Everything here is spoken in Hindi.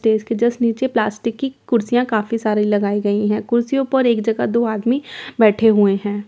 तो इसके जस्ट नीचे प्लास्टिक की कुर्सियां काफी सारी लगाई गई है कुर्सियों पर एक जगह दो आदमी बैठे हुए हैं।